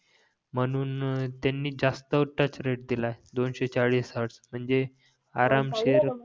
म्हून त्यांनी जास्त टच रेट दिलाय दोनशे चाळीस हॅर्डस म्हणजे आरामशीर